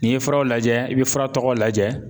N'i ye furaw lajɛ i bɛ fura tɔgɔw lajɛ.